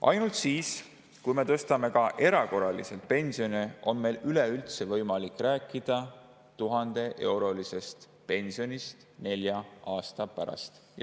Ainult siis, kui me tõstame pensione ka erakorraliselt, on meil üleüldse võimalik rääkida 1000‑eurosest pensionist nelja aasta pärast.